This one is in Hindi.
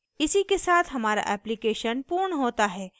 इसी के साथ हमारा application पूर्ण होता है